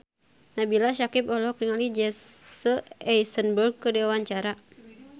Nabila Syakieb olohok ningali Jesse Eisenberg keur diwawancara